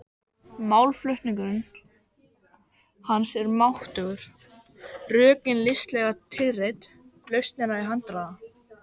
Málflutningur hans er máttugur, rökin listilega tilreidd, lausnirnar í handraða.